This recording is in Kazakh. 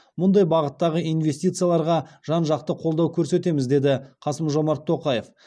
мұндай бағыттағы инвестицияларға жан жақты қолдау көрсетеміз деді қасым жомарт тоқаев